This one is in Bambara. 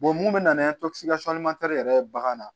mun bɛ na ni yɛrɛ ye bagan na